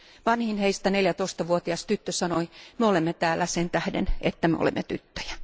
Vanhin heistä, 14 vuotias tyttö, sanoi Me olemme täällä sen tähden, että me olemme tyttöjä.